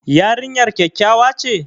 Yarinyar kyakkyawa ce?